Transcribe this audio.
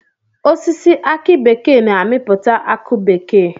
Osisi aki bekee na-amipụta akụ bekee.